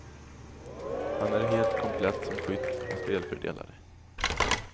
Han är helt komplett som skytt och spelfördelare.